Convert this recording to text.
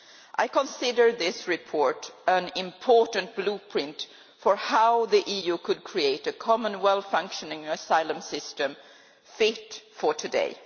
I consider this report an important blueprint for how the EU could create a common well functioning asylum system fit for today.